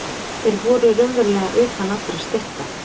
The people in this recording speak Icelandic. Þeir voru raunverulega utan allra stétta.